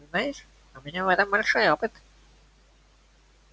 знаешь у меня в этом большой опыт